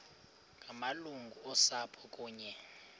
ngamalungu osapho kunye